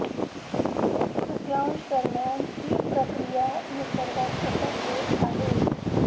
एक तृतीयांश दरम्यान ही प्रक्रिया निसर्गात सतत येत आहे